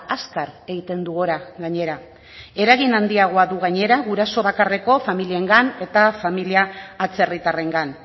azkar egiten du gora gainera eragin handiagoa du gainera guraso bakarreko familiengan eta familia atzerritarrengan